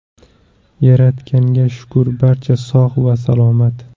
Yaratganga shukur barcha sog‘ va salomat.